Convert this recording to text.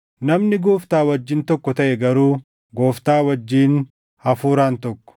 Namni Gooftaa wajjin tokko taʼe garuu Gooftaa wajjin hafuuraan tokko.